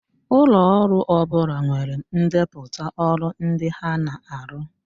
Ụlọ ọrụ ọ bụla nwere ndepụta ọrụ ndị ha na-arụ